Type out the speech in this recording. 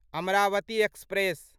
Amravati express